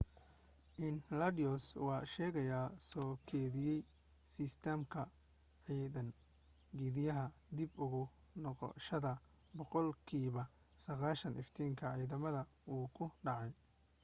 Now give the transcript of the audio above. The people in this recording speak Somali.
enceladus waa sheyga soo keydiya sistamka cadceed geediyaha dib ugu noqoshada boqol kiiba 90 iftiinka cadceda wuuw ku dhacay